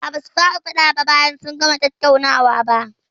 A'a, basu fara faɗa bayan sun gama tattaunawa ba.